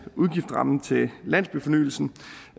udgiftsrammen til landsbyfornyelsen